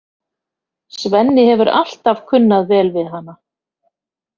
Svenni hefur alltaf kunnað vel við hana.